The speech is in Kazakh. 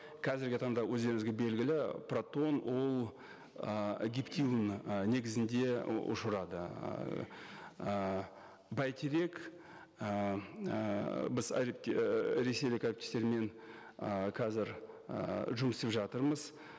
қазіргі таңда өздеріңізге белгілі протон ол ы гептил ы негізінде ұшырады ыыы бәйтерек ыыы біз ресейлік әріптестермен ы қазір ыыы жұмыс істеп жатырмыз